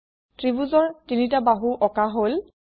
ত্ৰিভূজৰ ৩ টা বাহু অকাঁ হল